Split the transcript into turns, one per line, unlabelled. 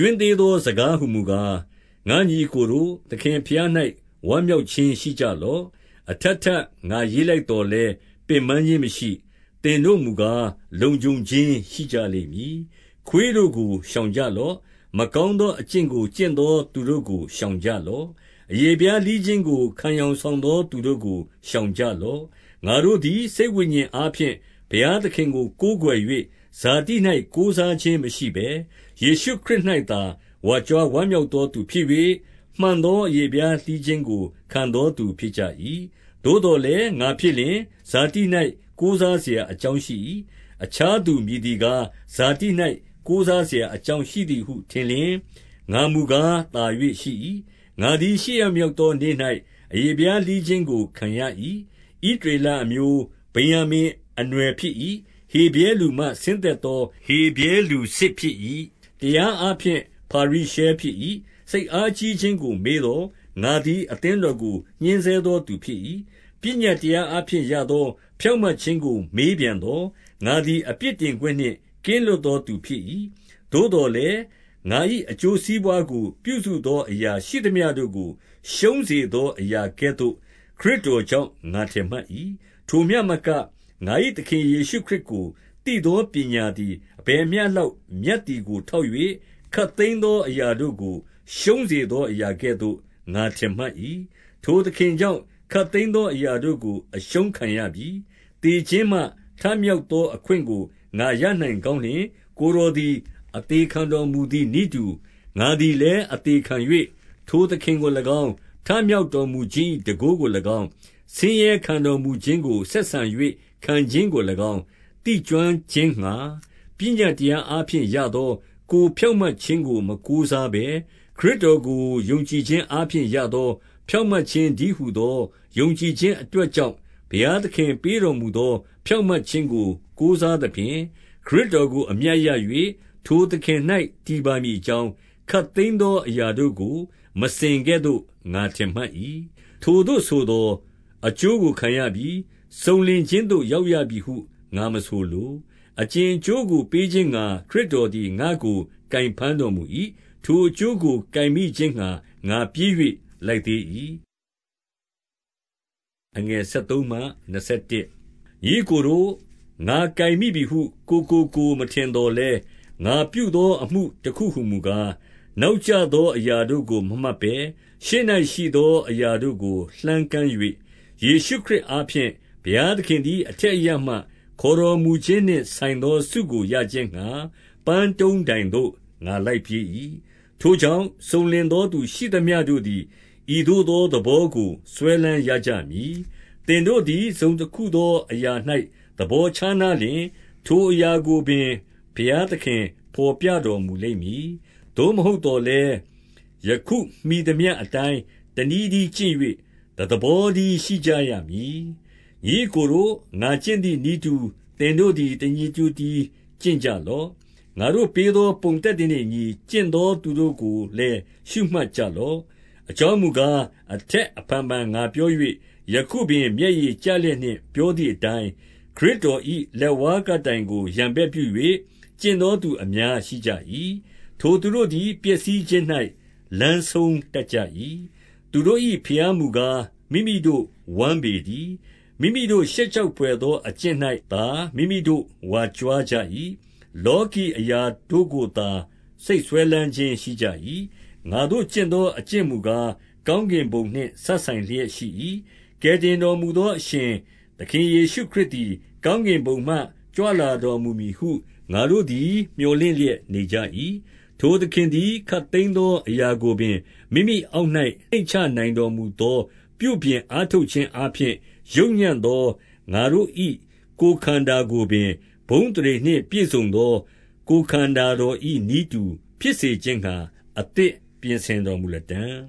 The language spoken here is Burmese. ွင်းသေးသော စကားဟူမူကား၊ ငါ့ညီအစ်ကိုတို့၊ သခင်ဘုရား၌ ဝမ်းမြောက်ခြင်းရှိကြလော့။ အထပ် ထပ် ငါရေးလိုက်သော်လည်း ပင်ပန်းခြင်းမရှိ။ သင်တို့မူကား လုံခြုံခြင်း ရှိကြလိမ့်မည်။ 2 ခွေးတို့ကိုရှောင်ကြလော့။ မကောင်းသော အကျင့်ကို ကျင့်သောသူတို့ကို ရှောင်ကြလော့။ အရေဖျား လှီးခြင်းကို ခံယောင်ဆောင်သော သူတို့ကို ရှောင်ကြလော့။ 3 ငါတို့သည် စိတ်ဝိညာဉ်အားဖြင့် ဘုရားသခင်ကို ကိုးကွယ်၍၊ ဇာတိ၌ကိုးစားခြင်းမရှိဘဲ၊ ယေရှုခရစ်၌သာ ဝါကြွားဝမ်းမြောက်သောသူဖြစ်၍၊ မှန်သောအရေဖျား လှီးခြင်းကို ခံသောသူဖြစ်ကြ၏။ 4 သို့သော်လည်း ငါဖြစ်လျှင် ဇာတိ၌ကိုးစားစရာအကြောင်းရှိ၏။ အခြားသူမည်သည်ကား၊ ဇာတိ၌ ကိုးစားစရာ အကြောင်းရှိသည်ဟု ထင်လျှင်၊ ငါမူကား သာ၍ရှိ၏။ 5 ငါသည်ရှစ်ရက်မြောက်သောနေ့၌ အရေဖျား လှီးခြင်းကို ခံရ၏။ ဣသရေလအမျိုး၊ ဗင်္ယာမိန် အနွယ် ဖြစ်၏။ ဟေဗြဲလူမှဆင်းသက်သော ဟေဗြဲလူစစ်ဖြစ်၏။ တရားအားဖြင့် ဖာရိရှဲဖြစ်၏။ 6 စိတ်အားကြီးခြင်းကို မေးသော်၊ ငါသည် အသင်းတော်ကို ညှင်းဆဲသောသူဖြစ်၏။ ပညတ်တရား အားဖြင့်ရသော ဖြောင့်မတ်ခြင်းကို မေးပြန်သော်၊ ငါသည် အပြစ်တင်ခွင့်နှင့် ကင်းလွတ်သောသူဖြစ်၏။ 7 သို့သော်လည်းငါ၏ အကျိုးစီးပွားကို ပြုစုသော အရာရှိသမျှတို့ကို ရှုံးစေသောအရာကဲ့သို့ ခရစ်တော် ကြောင့် ငါထင်မှတ်၏။ 8 ထိုမျှမကငါ၏ သခင်ယေရှုခရစ်ကိုသိသော ပညာသည် 9 အဘယ်မျှလောက် မြတ်သည်ကို ထောက်၍၊ ခပ်သိမ်းသောအရာတို့ကို 10 ရှုံးစေသောအရာကဲ့သို့ ငါထင်မှတ်၏။ 11 ထိုသခင်ကြောင့် ခပ်သိမ်းသောအရာတို့ကို အရှုံးခံရပြီ။ သေခြင်းမှ ထမြောက်သောအခွင့်ကို ငါရနိုင် ကောင်းလျှင်၊ ကိုယ်တော်သည် အသေခံတော်မူသည်နည်းတူ၊ ငါသည်လည်းအသေခံ၍ ထိုသခင်ကို၎င်း၊ ထမြောက်တော်မူခြင်း၏ တန်ဖိုးကို၎င်း၊ ဆင်းရဲခံတော်မူခြင်းကို ဆက်ဆံ၍ခံခြင်းကို၎င်း၊ သိကျွမ်းခြင်းငှါ၊ ပညတ်တရားအားဖြင့်ရသော ကိုယ်ဖြောင့်မတ်ခြင်းကို မကိုးစားဘဲ၊ ခရစ်တော်ကို ယုံကြည်ခြင်းအားဖြင့် ရသောဖြောင့်မြတ်ခြင်းတည်းဟူသော ယုံကြည်ခြင်းအတွက်ကြောင့် ဘုရားသခင်ပေးတော်မူသော ဖြောင့်မြတ်ခြင်းကိုကိုးစားသဖြင့်၊ ခရစ်တော်ကို အမြတ်ရ၍ ထိုသခင်၌ တည်ပါမည်အကြောင်း၊ ခပ်သိမ်းသောအရာတို့ကို မစင်ကဲ့သို့ ငါထင်မှတ်၏။ 12 ထိုသို့ဆိုသော် အကျိုးကိုခံရပြီ၊ စုံလင်ခြင်းသို့ ရောက်ရပြီဟု ငါမဆိုလို၊ အကြင်အကျိုးကိုပေးခြင်းငှါ ခရစ်တော်သည် ငါ့ကို ကိုင်ဘမ်းတော်မူ၏။ ထိုအကျိုးကို ကိုင်မိခြင်းငှါ ငါပြေး၍ လိုက်သေး၏။ 13 ညီအစ်ကိုတို့၊ ငါကိုင်မိပြီဟု ကိုယ်ကိုကိုယ် မထင်သော်လည်း၊ ငါပြုသောအမှုတခုဟူမူကား၊ နောက် ကျသောအရာတို့ကို မမှတ်ဘဲ၊ ရှေ့၌ ရှိသောအရာတို့ကို လှမ်းကမ်း၍၊ 14 ယေရှုခရစ်အားဖြင့်ဘုရားသခင်သည် အထက်အရပ်မှ ခေါ်တော်မူခြင်းနှင့် ဆိုင်သောဆုကို ရခြင်းငှါ၊ ပန်းတုံးတိုင်သို့ ငါလိုက်ပြေး၏။ 15 ထိုကြောင့် စုံလင်သောသူရှိသမျှတို့သည် ဤသို့သောသဘောကို စွဲလမ်းရကြမည်။ သင်တို့သည် တစုံတခုသောအရာ၌ သဘောခြားနားလျှင်၊ ထိုအရာကိုပင် ဘုရားသခင် ဘော်ပြတော်မူလိမ့်မည်။ 16 သို့မဟုတ်သော်လည်း၊ ယခုမှီသမျှအတိုင်း တနည်းတည်းကျင့်၍ တသဘောတည်းရှိရကြမည်။ 17 ညီအစ်ကိုတို့၊ ငါကျင့်သည်နည်းတူ သင်တို့သည် တညီတညွတ်တည်း ကျင့်ကြလော့။ ငါတို့ပေးသော ပုံသက်သေနှင့်အညီ ကျင့်သောသူတို့ကိုလည်း ရှုမှတ်ကြလော့။ 18 အကြောင်းမူကား၊ အထက်အဖန်ဖန် ငါပြော၍၊ ယခုပင် မျက်ရည်ကျလျက်နှင့် ပြောသည်အတိုင်း၊ ခရစ်တော်၏ လက်ဝါးကပ်တိုင်ကို ရန်ဘက်ပြု၍ ကျင့်သောသူအများရှိကြ၏။ 19 ထိုသူတို့သည် ပျက်စီးခြင်း၌ လမ်းဆုံးတတ်ကြ၏။ သူတို့၏ ဘုရားမူကား၊ မိမိတို့ဝမ်းပေတည်း။ မိမိတို့ ရှက်ကြောက်ဘွယ်သော အကျင့်၌သာ မိမိတို့ဝါကြွားကြ၏။ လောကီအရာတို့ကိုသာ စိတ်စွဲလမ်းခြင်းရှိကြ၏။ 20 ငါတို့ကျင့်သော အကျင့်မူကား၊ ကောင်းကင်ဘုံနှင့် စပ်ဆိုင်လျက်ရှိ၏။ ကယ်တင်တော်မူသောအရှင် သခင်ယေရှုခရစ်သည် ကောင်းကင်ဘုံမှ ကြွလာတော်မူမည်ဟု ငါတို့သည် မြော်လင့်လျက်နေကြ၏။ 21 ထိုသခင်သည် ခပ်သိမ်းသောအရာကိုပင် မိမိ အောက်၌ နှိမ့်ချနိုင်တော်မူသော ပြုပြင်အားထုတ်ခြင်း အားဖြင့် ယုတ်ညံ့သော ငါတို့၏ ကိုယ်ခန္ဓာကိုပင်၊ ဘုန်းအသရေနှင့်ပြည့်စုံသော ကိုယ်ခန္ဓာတော်၏နည်းတူ ဖြစ် စေခြင်းငှါ အသစ်ပြင်ဆင်တော်မူလတံ့